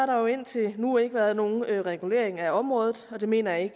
der jo indtil nu ikke været nogen regulering af området og det mener jeg